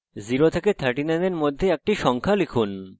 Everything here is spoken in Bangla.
0 এবং 39 এর মধ্যে একটি সংখ্যা লিখুন